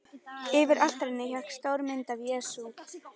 Yfir altarinu hékk stór mynd af Jesú.